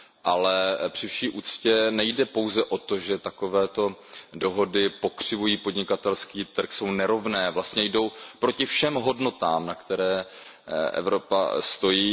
Ale při vší úctě nejde pouze o to, že takové dohody pokřivují podnikatelský trh, jsou nerovné, vlastně jdou proti všem hodnotám, na kterých Evropa stojí.